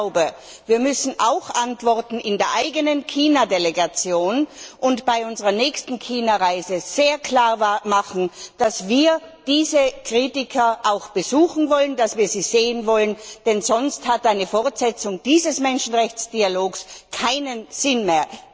Ich glaube, wir müssen in unserer eigenen China Delegation antworten und bei unserer nächsten China Reise sehr klar machen, dass wir diese Kritiker auch besuchen wollen, dass wir sie sehen wollen, denn sonst hat eine Fortsetzung dieses Menschenrechtsdialogs keinen Sinn mehr.